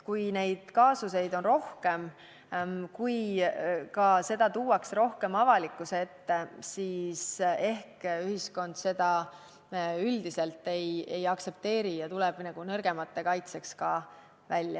Kui neid kaasuseid on rohkem ja kui seda tuuakse rohkem avalikkuse ette, siis ehk ühiskond seda üldiselt ei aktsepteeri ja astub nõrgemate kaitseks välja.